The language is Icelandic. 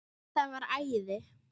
Það var æði.